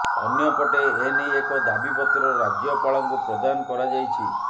ଅନ୍ୟପଟେ ଏନେଇ ଏକ ଦାବି ପତ୍ର ରାଜ୍ୟପାଳଙ୍କୁ ପ୍ରଦାନ କରାଯାଇଛି